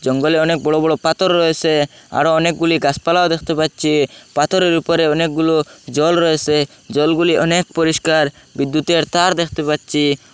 জঙ্গলে অনেক বড় বড় পাথর রয়েসে আরো অনেকগুলি গাসপালাও দেখতে পাচ্ছি পাথরের উপরে অনেকগুলো জল রয়েসে জলগুলি অনেক পরিষ্কার বিদ্যুতের তার দেখতে পাচ্ছি।